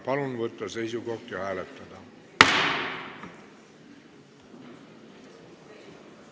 Palun võtta seisukoht ja hääletada!